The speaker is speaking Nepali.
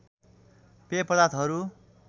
पेय पदार्थहरू